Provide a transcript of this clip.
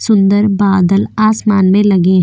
सुंदर बादल आसमान में लगे हैं।